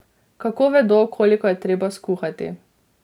Kako vedo, koliko je treba skuhati?